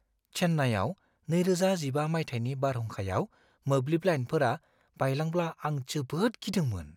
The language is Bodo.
चेन्नाईआव 2015 मायथाइनि बारहुंखायाव मोब्लिब लाइनफोरा बायलांब्ला आं जोबोद गिदोंमोन।